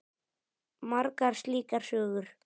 Margar slíkar sögur.